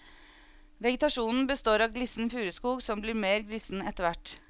Vegetasjonen består av glissen furuskog som blir mer glissen etterhvert.